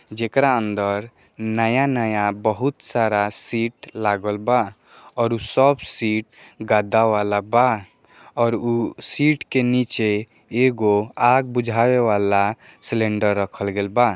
जिकरा अंदर नया-नया बहुत सारा सीट लगलबा और सब सीट गादा वालाबा और उ सीट के नीचे एगो आग भुजाये वाला सिलिंडर रखेलबा।